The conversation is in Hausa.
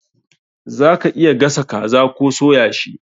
Za ka iya gasa kaza koh soya shi.